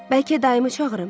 Bəlkə dayımı çağırım?